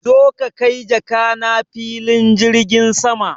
Zo ka kai jakana filin jirgin sama!